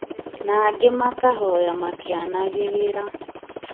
na angĩ makahoya makĩanagĩrĩra